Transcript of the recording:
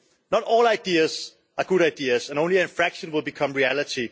Not all ideas are good ideas, and only a fraction will become reality.